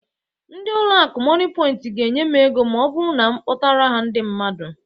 Ndị ụlọ akụ Mọnịpọint ga-enye m ego ma ọ bụrụ na m akpọtara ha ndị mmadụ